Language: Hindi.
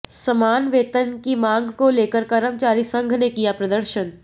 समान वेतन की मांग को लेकर कर्मचारी संघ ने किया प्रदर्शन